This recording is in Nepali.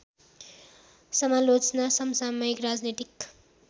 समालोचना समसामयिक राजनीतिक